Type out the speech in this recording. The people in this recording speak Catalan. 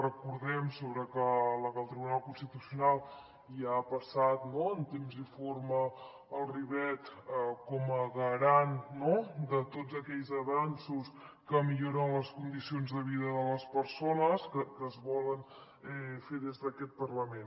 recordem ho sobre la que el tribunal constitucional ja ha passat en temps i forma el ribot com a garant no de tots aquells avanços que milloren les condicions de vida de les persones que es volen fer des d’aquest parlament